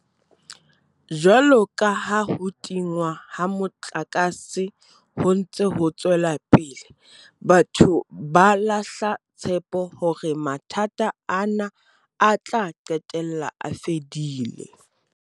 Jwalo ka ha ho tingwa ha motlakase ho ntse ho tswela pele, batho ba lahla tshepo hore mathata ana a tla qetella a fedile.